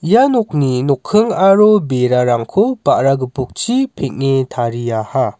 ia nokni nokking aro berarangko ba·ra gipokchi peng·e tariaha.